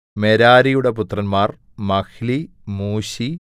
മെരാരിയുടെ പുത്രന്മാർ Mahli Mushi